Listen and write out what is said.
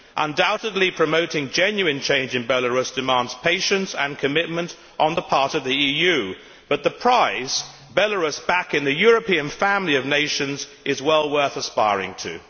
Undoubtedly, promoting genuine change in Belarus demands patience and commitment on the part of the EU, but the prize Belarus back in the European family of nations is well worth aspiring to.